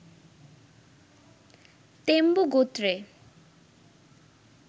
তেম্বু গোত্রে